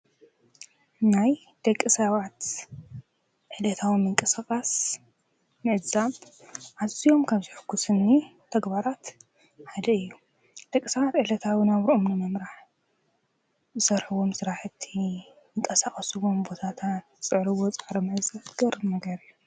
ናይ ደቂ ሰባት ዕለታዊ ምንቀሰቓስ ምዕዛብ ዓዙኦም ካብ ዘሐጉስኒ ተግባራት ሓደ እዩ ደቂሰባት ዕለታዊ ናብርኦም ንምምራሕ ብሰርሕዎም ስራሕቲ ንምንቀሳቐስዎም ቦታታት ዝፅዕሪዎ ፃዕሪ መእዘት ዝገርም እዩ።